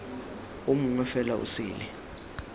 o mongwe fela o sele